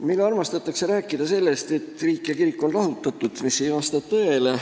Meil armastatakse rääkida sellest, et riik ja kirik on lahutatud, see aga ei vasta tõele.